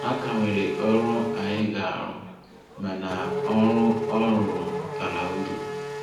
A ka nwere ọrụ anyị ga-arụ, mana ọrụ ọ rụrụ bara uru.